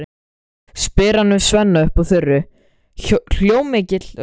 spyr hann Svenna upp úr þurru, hljómmikilli röddu.